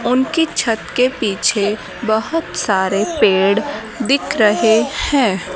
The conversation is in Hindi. उनके छत के पीछे बहोत सारे पेड़ दिख रहे हैं।